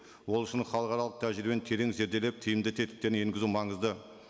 ол үшін халықаралық тәжірибені терең зерделеп тиімді тетіктерін енгізу маңызды